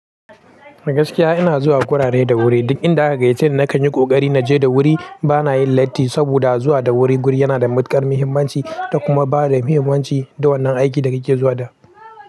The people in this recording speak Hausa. Gaskiya ina zuwa gurare da wuri. Duk inda aka gayyace ni na kan yi ƙoƙari na je da wuri. Ba na yin latti saboda zuwa da wuri guri yana da matuƙar muhimmanci, da kuma bada muhimmanci da wannan aiki da kake zuwa da.